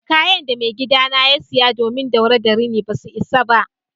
Kayan de maigida na ya siya domin daure da rini basa isa ba.